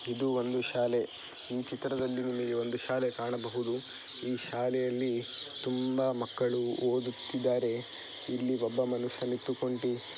ಇದು ಒಂದು ಶಾಲೆ ಈ ಚಿತ್ರದಲ್ಲಿ ನಿಮಗೆ ಒಂದು ಶಾಲೆ ಕಾಣಬಹುದು ಈ ಶಾಲೆಯಲ್ಲಿ ತುಂಬಾ ಮಕ್ಕಳು ಓದುತ್ತಿದ್ದಾರೆ. ಇಲ್ಲಿ ಒಬ್ಬ ಮನುಷ್ಯ ನಿಂತುಕೊಂಡಿ--